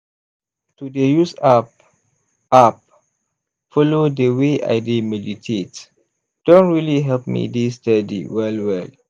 to dey use app app follow dey way i dey meditate don really help me dey steady well well.